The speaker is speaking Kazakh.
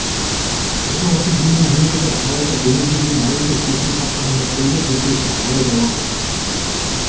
бұрын осы жүйені енгізді алайда бүгінге дейін әлі де шешімін таппаған мәселелер жеткілікті алайда уақыт